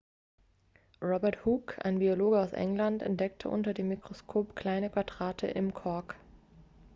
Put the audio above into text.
robert hooke ein biologe aus england entdeckte unter dem mikroskop kleine quadrate im kork